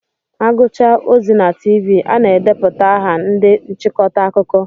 Aguchaa ozi na Tiivii a na-edeputa aha ndị nchịkọta akụkọ.